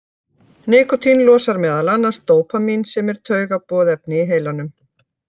Nikótín losar meðal annars dópamín sem er taugaboðefni í heilanum.